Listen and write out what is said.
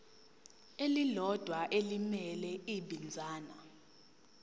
elilodwa elimele ibinzana